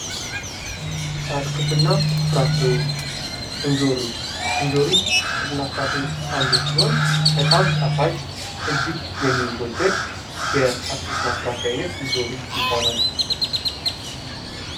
አትክልት እና ፍራፍሬዎች ኢንጆሪ ከአትክልት እና ፍራፍሬዎች ዉስጥ አንዱ ሲሆን በጣም ጣፋጭ እጅግ የሚወደድ የአትክልት እና ፍራፍሬ አይነት ኢንጆሪ ይባላል።